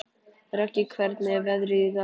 Röggi, hvernig er veðrið í dag?